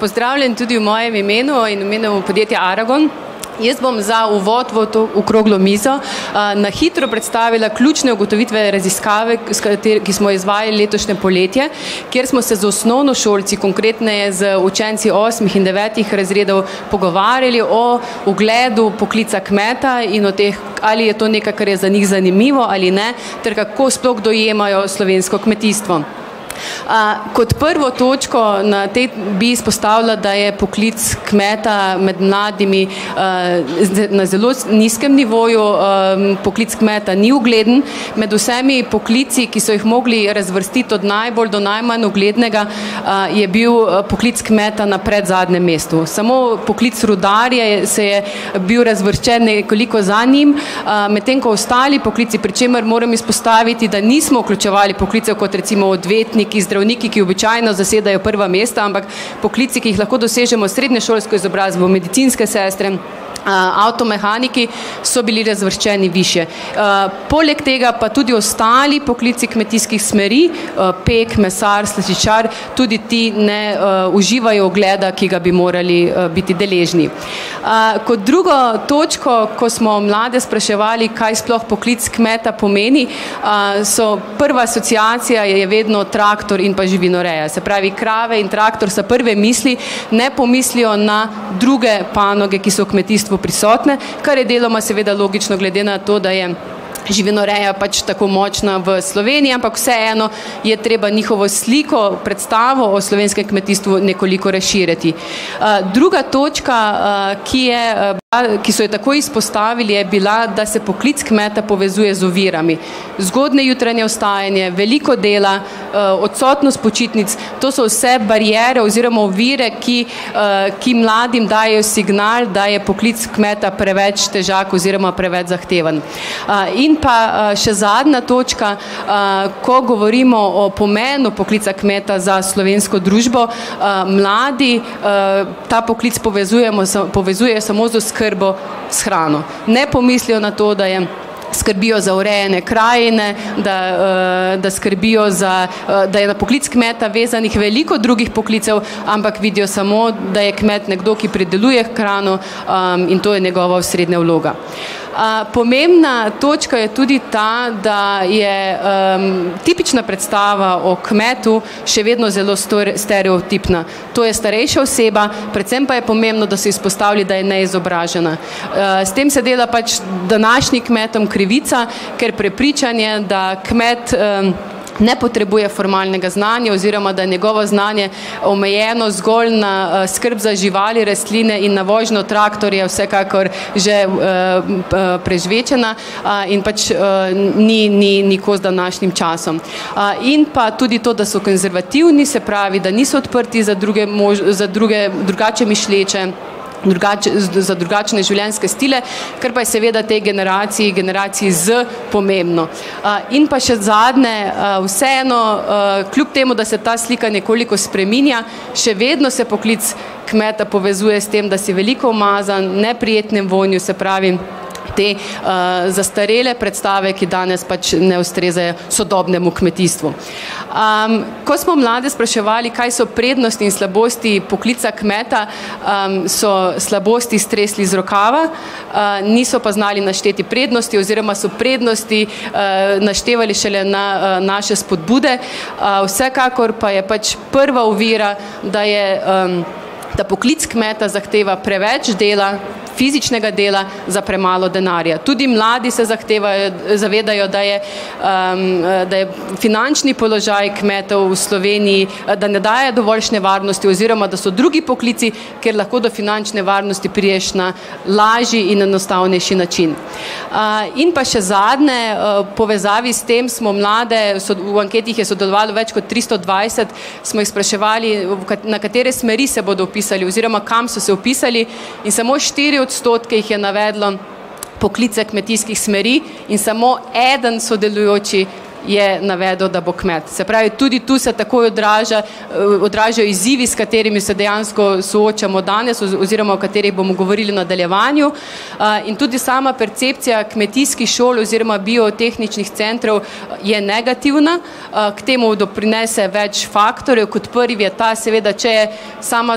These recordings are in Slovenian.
pozdravljen tudi v mojem imenu in v imenu podjetja Aragon. Jaz bom za uvod v to okroglo mizo, na hitro predstavila ključne ugotovitve raziskave, s ki smo jo izvajali letošnje poletje, kjer smo se z osnovnošolci, konkretneje z učenci osmih in devetih razredov, pogovarjali o ugledu poklica kmeta in o teh, ali je to nekaj, kar je za njih zanimivo ali ne, ter kako sploh dojemajo slovensko kmetijstvo. kot prvo točko na bi izpostavila, da je poklic kmeta med mladimi, na zelo nizkem nivoju, poklic kmeta ni ugleden. Med vsemi poklici, ki so jih mogli razvrstiti od najbolj do najmanj uglednega, je bil poklic kmeta na predzadnjem mestu. Samo poklic rudarja se je bil razvrščen nekoliko za njim, medtem ko ostali poklici, pri čemer moram izpostaviti, da nismo vključevali poklicev, kot recimo odvetniki, zdravniki, ki običajno zasedajo prva mesta, ampak poklici, ki jih lahko dosežemo s srednješolsko izobrazbo, medicinske sestre, avtomehaniki, so bili razvrščeni višje. poleg tega pa tudi ostali poklici kmetijskih smeri, pek, mesar, slaščičar, tudi ti, ne uživajo ugleda, ki bi ga morali, biti deležni. kot drugo točko, ko smo mlade spraševali, kaj sploh poklic kmeta pomeni, so prva asociacija je vedno traktor in pa živinoreja. Se pravi, krave in traktor so prve misli, ne pomislijo na druge panoge, ki so v kmetijstvu prisotne, kar je deloma seveda logično, glede na to, da je živinoreja pač tako močna v Sloveniji. Ampak vseeno je treba njihovo sliko, predstavo o slovenskem kmetijstvu nekoliko razširiti. druga točka, ki je, bila, ki so jo takoj izpostavili, je bila, da se poklic kmeta povezuje z ovirami. Zgodnje jutranje vstajanje, veliko dela, odsotnost počitnic, to so vse bariere oziroma ovire, ki, ki mladim dajejo signal, da je poklic kmeta preveč težak oziroma preveč zahteven. in pa, še zadnja točka, ko govorimo o pomenu poklica kmeta za slovensko družbo, mladi, ta poklic povezujemo z, povezujejo samo z oskrbo s hrano. Ne pomislijo na to, da je skrbijo za urejanje krajine, da, da skrbijo za, da je na poklic kmeta vezanih veliko drugih poklicev, ampak vidijo samo, da je kmet nekdo, ki prideluje hrano, in to je njegova osrednja vloga. pomembna točka je tudi ta, da je, tipična predstava o kmetu še vedno zelo stereotipna. To je starejša oseba, predvsem pa je pomembno, da so izpostavili, da je neizobražena. s tem se dela pač današnjim kmetom krivica, ker prepričanje, da kmet, ne potrebuje formalnega znanja oziroma da je njegovo znanje omejeno zgolj na, skrb za živali, rastline in na vožnjo traktorja, je vsekakor že, prežvečena, in pač, ni, ni, ni kos današnjim časom. in pa tudi to, da so konzervativni, se pravi da niso odprti za druge za druge, drugače misleče, za drugačne življenjske stile, kar pa je seveda tej generaciji, generaciji Z, pomembno. in pa še zadnje. vseeno, kljub temu da se ta slika nekoliko spreminja, še vedno se poklic kmeta povezuje s tem, da si veliko umazan, neprijetnim vonjem, se pravi, te, zastarele predstave, ki danes pač ne ustrezajo sodobnemu kmetijstvu. ko smo mlade spraševali, kaj so prednosti in slabosti poklica kmeta, so slabosti stresli iz rokava, niso pa znali našteti prednosti oziroma so prednosti, naštevali šele na, naše spodbude. vsekakor pa je pač prva ovira, da je, ta poklic kmeta zahteva preveč dela, fizičnega dela, za premalo denarja. Tudi mladi se zahtevajo, zavedajo, da je, da je finančni položaj kmetov v Sloveniji, da ne daje dovoljšne varnosti oziroma da so drugi poklici, kjer lahko do finančne varnosti prideš na lažji in enostavnejši način. in pa še zadnje. v povezavi s tem smo mlade, v anketi jih je sodelovalo več kot tristo dvajset, smo jih spraševali, v na katere smeri se bodo vpisali oziroma kam so se vpisali. In samo štiri odstotke jih je navedlo poklice kmetijskih smeri in samo eden sodelujoči je navedel, da bo kmet. Se pravi, tudi tu se takoj odraža, odražajo izzivi, s katerimi se dejansko soočamo danes oziroma o katerih bomo govorili v nadaljevanju. in tudi sama percepcija kmetijskih šol oziroma biotehničnih centrov je negativna. k temu doprinese več faktorjev. Kot prvi je ta, seveda če je sama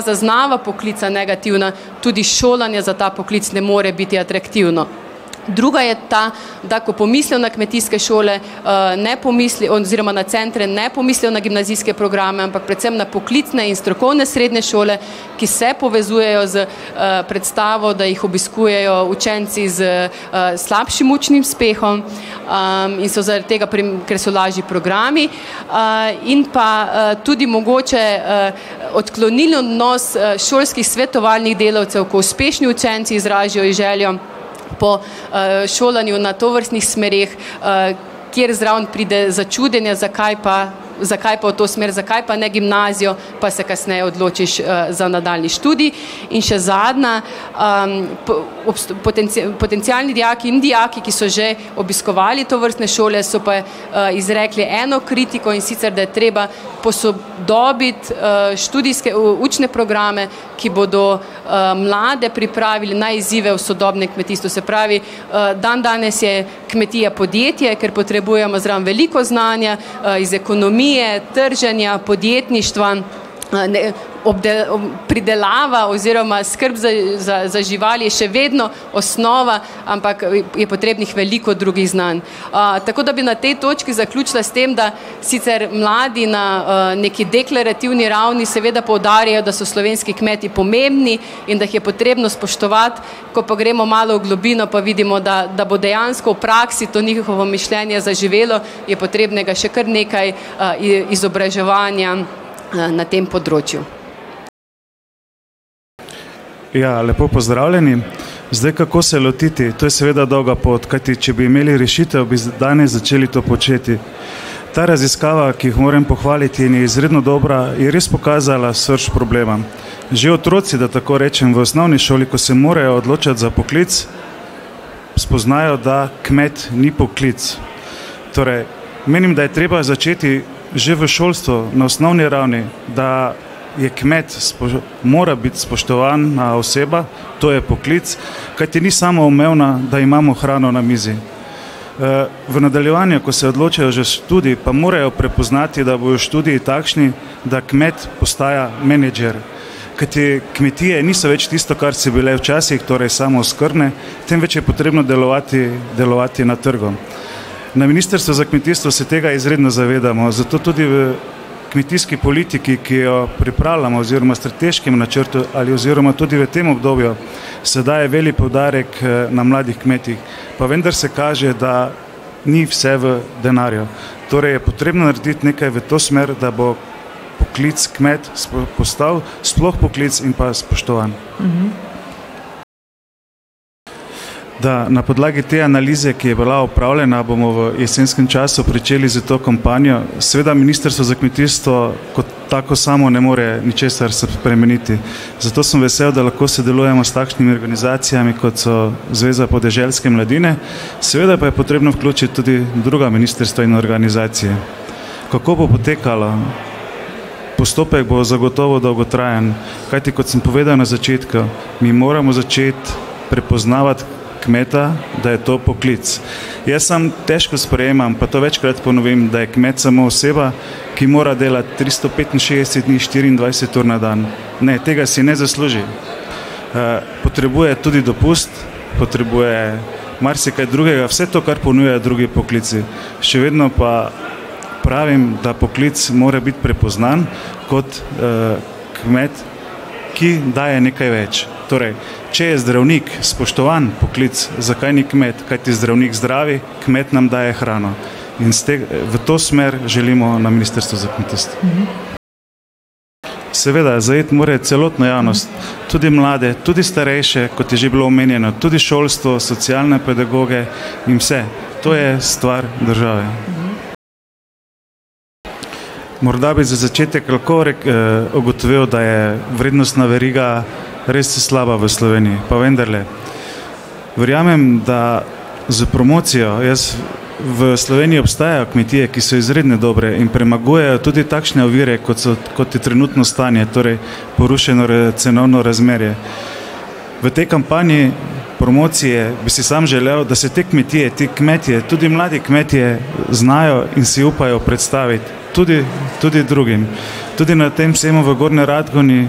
zaznava poklica negativna, tudi šolanje za ta poklic ne more biti atraktivno. Druga je ta, da ko pomislijo na kmetijske šole, ne oziroma na centru, ne pomislijo na gimnazijske programe, ampak predvsem na poklicne in strokovne srednje šole, ki se povezujejo s, predstavo, da jih obiskujejo učenci s, slabšim učnim uspehom, in so zaradi tega, ker so lažji programi. in pa, tudi mogoče, odklonilen odnos šolskih svetovalnih delavcev, ko uspešni učenci izrazijo željo po, šolanju na tovrstnih smereh, kjer zraven pride začudenje, zakaj pa, zakaj pa v to smer, zakaj pa ne gimnazijo, pa se kasneje odločiš, za nadaljnji študij. In še zadnja. potencialni dijaki in dijaki, ki so že obiskovali tovrstne šole, so pa, izrekli eno kritiko, in sicer, da je treba posodobiti, študijske učne programe, ki bodo, mlade pripravili na izzive v sodobnem kmetijstvu. Se pravi, dandanes je kmetija podjetje, ker potrebujemo zraven veliko znanja, iz ekonomije, trženja, podjetništva, a ne, pridelava oziroma skrb za, za, za živali je še vedno osnova, ampak je potrebnih veliko drugih znanj. tako da bi na tej točki zaključila s tem, da sicer mladi na, neki deklarativni ravni seveda poudarjajo, da so slovenski kmeti pomembni in da jih je potrebno spoštovati, ko pa gremo malo v globino, pa vidimo, da, da bo dejansko v praksi to njihovo mišljenje zaživelo, je potrebnega še kar nekaj, izobraževanja, na tem področju. Ja, lepo pozdravljeni. Zdaj, kako se lotiti? To je seveda dolga pot, kajti če bi imeli rešitev, bi danes začeli to početi. Ta raziskava, ki jih moram pohvaliti in je izredno dobra, je res pokazala srž problema. Že otroci, da tako rečem, v osnovni šoli, ko se morajo odločiti za poklic, spoznajo, da kmet ni poklic. Torej menim, da je treba začeti že v šolstvu, na osnovni ravni, da je kmet mora biti spoštovana oseba, to je poklic. Kajti ni samoumevno, da imamo hrano na mizi. v nadaljevanju, ko se odločajo za študij, pa morajo prepoznati, da bojo študiji takšni, da kmet postaja menedžer. Kajti kmetije niso več tisto, kar so bile včasih, torej samooskrbne, temveč je potrebno delovati, delovati na trgu. Na ministrstvu za kmetijstvo se tega izredno zavedamo, zato tudi v kmetijski politiki, ki jo pripravljamo, oziroma strateškem načrtu ali oziroma tudi v tem obdobju, se daje velik poudarek, na mladih kmetih. Pa vendar se kaže, da ni vse v denarju. Torej je potrebno narediti nekaj v to smer, da bo poklic kmet postal sploh poklic in pa spoštovan. Da na podlagi te analize, ki je bila opravljena, bomo v jesenskem času pričeli s to kampanjo. Seveda ministrstvo za kmetijstvo kot tako samo ne more ničesar spremeniti. Zato sem vesel, da lahko sodelujemo s takšnimi organizacijami, kot so Zveza podeželske mladine. Seveda pa je potrebno vključiti tudi druga ministrstva in organizacije. Kako bo potekala? Postopek bo zagotovo dolgotrajen. Kajti, kot sem povedal na začetku, mi moramo začeti prepoznavati kmeta, da je to poklic. Jaz samo težko sprejemam, pa to večkrat ponovim, da je kmet samo oseba, ki mora delati tristo petinšestdeset dni štiriindvajset ur na dan. Ne, tega si ne zasluži. potrebuje tudi dopust, potrebuje marsikaj drugega, vse to, kar ponujajo drugi poklici. Še vedno pa pravim, da poklic mora biti prepoznan kot, kmet, ki daje nekaj več. Torej če je zdravnik spoštovan poklic, zakaj ni kmet. Kajti zdravnik zdravi, kmet nam daje hrano. In s v to smer želimo na ministrstvu za kmetijstvo. Seveda, zajeti mora celotno javnost. Tudi mlade, tudi starejše, kot je že bilo omenjeno. Tudi šolstvo, socialne pedagoge in vse. To je stvar države. Morda bi za začetek lahko ugotovili, da je vrednostna veriga res slaba v Sloveniji. Pa vendarle, verjamem, da s promocijo, jaz, v Sloveniji obstajajo kmetije, ki so izredno dobre in premagujejo tudi takšne ovire, kot so, kot je trenutno stanje, torej porušeno cenovno razmerje. V tej kampanji promocije bi si samo želel, da se te kmetije, ti kmetje, tudi mladi kmetje, znajo in si upajo predstaviti. Tudi, tudi drugim. Tudi na tem sejmu v Gornji Radgoni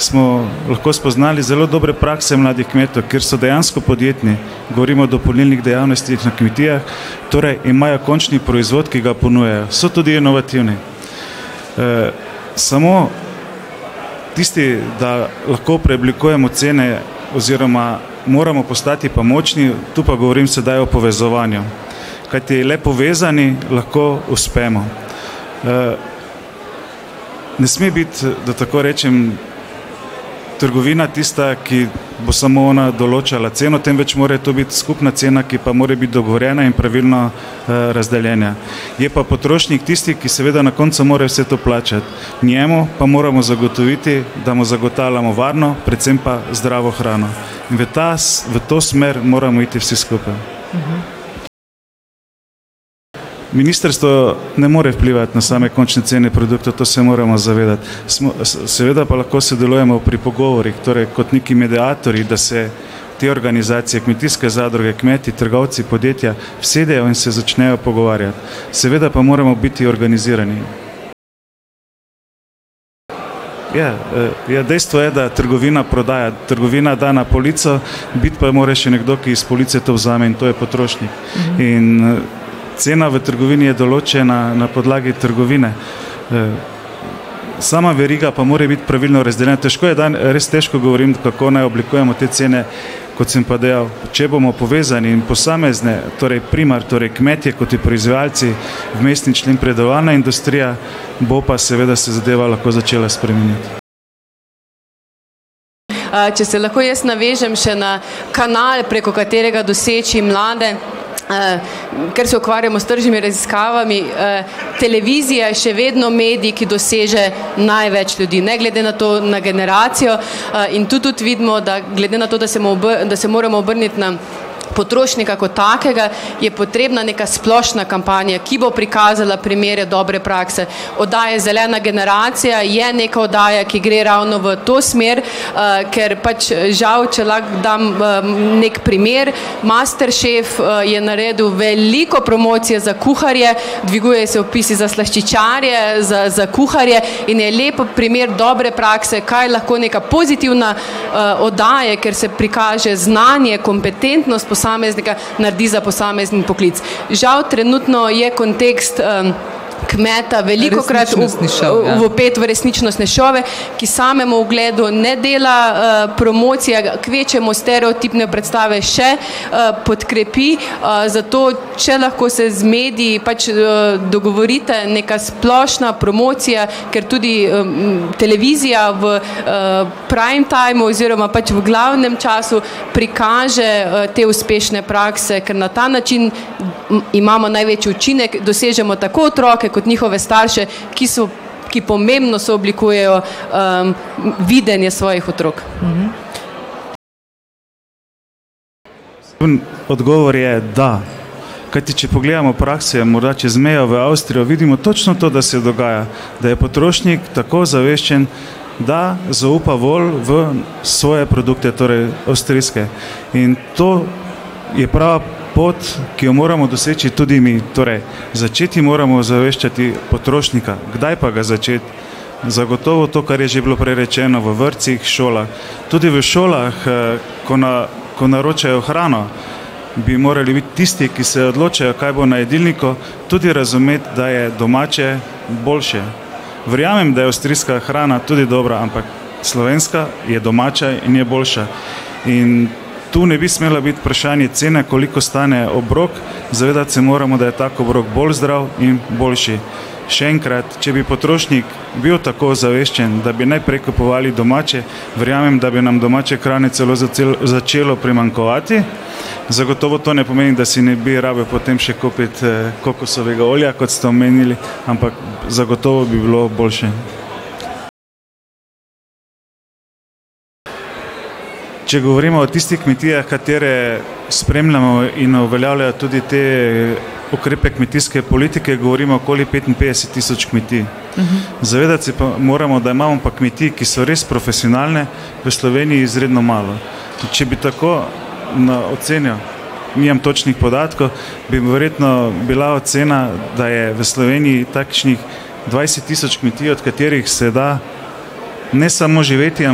smo lahko spoznali zelo dobre prakse mladih kmetov, ker so dejansko podjetni. Govorimo o dopolnilnih dejavnostih na kmetijah, torej imajo končni proizvod, ki ga ponujajo. So tudi inovativni. samo tisti, da lahko preoblikujemo cene oziroma moramo postati pa močni, tu pa govorim sedaj o povezovanju. Kajti le povezani lahko uspemo. ne sme biti, da tako rečem, trgovina tista, ki bo samo ona določala ceno, temveč mora to biti skupna cena, ki pa mora biti dogovorjena in pravilno, razdeljena. Je pa potrošnik tisti, ki seveda na koncu mora vse to plačati. Njemu pa moramo zagotoviti, da mu zagotavljamo varno, predvsem pa zdravo hrano. In v ta v to smer moramo iti vsi skupaj. Ministrstvo ne more vplivati na same končne cene produktov, to se moramo zavedati. seveda pa lahko sodelujemo pri pogovorih, torej kot neki mediatorji, da se te organizacije, kmetijske zadruge, kmetje, trgovci, podjetja usedejo in se začnejo pogovarjati. Seveda pa moramo biti organizirani. Ja. ja, dejstvo je, da trgovina prodaja. Trgovina da na polico, biti pa mora še nekdo, ki s police to vzame, in to je potrošnik. In, cena v trgovini je določena na podlagi trgovine. sama veriga pa mora biti pravilno razdeljena. Težko je res težko govorim, kako naj oblikujemo te cene. Kot sem pa dejal, če bomo povezani in posamezne, torej torej kmetje kot ti proizvajalci, vmesni člen predelovalna industrija bo pa seveda se zadeva lahko začela spreminjati. če se lahko jaz navežem še na kanal, preko katerega doseči mlade. ker se ukvarjamo s tržnimi raziskavami, televizija je še vedno medij, ki doseže največ ljudi. Ne glede na to, na generacijo. in tu tudi vidimo, da glede na to, da se da se moramo obrniti na potrošnika kot takega, je potrebna neka splošna kampanja, ki bo prikazala primere dobre prakse. Oddaja Zelena generacija je neka oddaja, ki gre ravno v to smer, ker pač, žal, če lahko dam neki primer, Masterchef je naredil veliko promocije za kuharje, dvigujejo se vpisi za slaščičarje, za, za kuharje, in je lep primer dobre prakse, kaj lahko neka pozitivna, oddaja, kjer se prikaže znanje, kompetentnost posameznika, naredi za posamezen poklic. Žal trenutno je kontekst, kmeta velikokrat vpet v resničnostne šove, ki samemu ugledu ne dela, promocije, kvečjemu stereotipne predstave še, podkrepi. zato, če lahko se z mediji pač, dogovorite, neka splošna promocija, ker tudi, televizija v, prime timu oziroma pač v glavnem času prikaže, te uspešne prakse, ker na ta način imamo največji učinek, dosežemo tako otroke kot njihove starše, ki so, ki pomembno sooblikujejo, videnje svojih otrok. odgovor je da. Kajti če pogledamo v praksi, morda čez mejo v Avstrijo, vidimo točno to, da se dogaja. Da je potrošnik tako ozaveščen, da zaupa bolj v svoje produkte, torej avstrijske. In to je prava pot, ki jo moramo doseči tudi mi. Torej začeti moramo ozaveščati potrošnika. Kdaj pa ga začeti? Zagotovo to, kar je že bilo prej rečeno, v vrtcih, šolah. Tudi v šolah, ko ko naročajo hrano, bi morali biti tisti, ki se odločajo, kaj bo na jedilniku, tudi razumeti, da je domače boljše. Verjamem, da je avstrijska hrana tudi dobra, ampak slovenska je domača in je boljša. In to ne bi smelo biti vprašanje cene, koliko stane obrok, se moramo zavedati, da je tak obrok bolj zdrav in boljši. Še enkrat, če bi potrošnik bil tako ozaveščen, da bi najprej kupovali domače, verjamem, da bi nam domače hrane celo začelo primanjkovati. Zagotovo to ne pomeni, da si ne bi rabili potem še kupiti, kokosovega olja, kot ste omenili, ampak zagotovo bi bilo boljše. Če govorimo o tistih kmetijah, katere spremljamo in uveljavljajo tudi te ukrepe kmetijske politike, govorimo okoli petinpetdeset tisoč kmetij. Zavedati se pa moramo, da imamo pa kmetij, ki so res profesionalne, v Sloveniji izredno malo. Če bi tako na oceno, nimam točnih podatkov, bi verjetno bila ocena, da je v Sloveniji takšnih dvajset tisoč kmetij, od katerih se da ne samo živeti,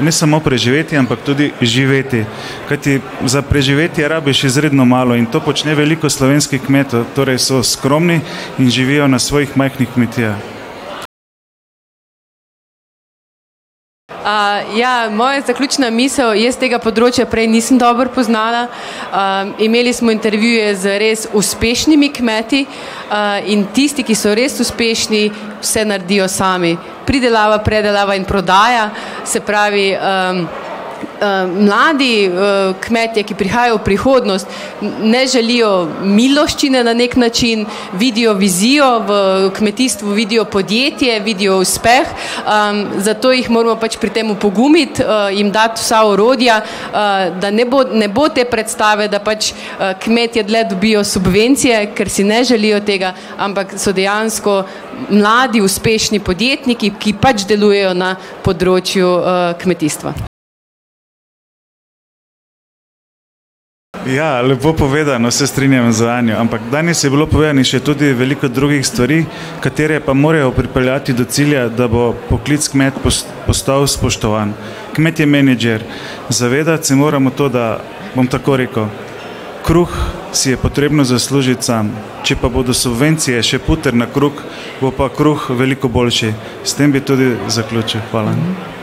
ne samo preživeti, ampak tudi živeti. Kajti za preživetje rabiš izredno malo in to počne veliko slovenskih kmetov. Torej so skromni in živijo na svojih majhnih kmetijah. ja, moja zaključna misel. Jaz tega področja prej nisem dobro poznala, imeli smo intervjuje z res uspešnimi kmeti, in tisti, ki so res uspešni, vse naredijo sami. Pridelava, predelava in prodaja, se pravi, mladi, kmetje, ki prihajajo v prihodnost, ne želijo miloščine na neki način, vidijo vizijo, v kmetijstvu vidijo podjetje, vidijo uspeh, zato jih moramo pač pri tem opogumiti, jim dati vsa orodja, da ne bo, ne bo te predstave, da pač, kmetje dlje dobijo subvencije, ker si ne želijo tega, ampak so dejansko mladi, uspešni podjetniki, ki pač delujejo na področju, kmetijstva. Ja, lepo povedano, se strinjam z Anjo, ampak danes je bilo povedanih še tudi veliko drugih stvari, katere pa morajo pripeljati do cilja, da bo poklic kmeta postal spoštovan. Kmet je menedžer. Zavedati se moramo to, da bom tako rekel, kruh si je potrebno zaslužiti sam. Če pa bodo subvencije še puter na kruh, bo pa kruh veliko boljši. S tem bi tudi zaključil. Hvala.